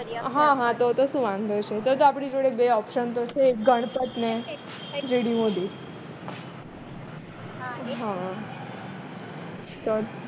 હ તો તો શું વાંધો છે તો તો આપણી જોડે બે option તો છે એક ગણપત ને GD મોદી હા